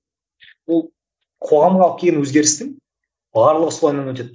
ол қоғамның алып келген өзгерістің барлығы солайынан өтеді